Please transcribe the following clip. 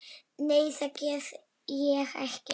Nei, það get ég ekki.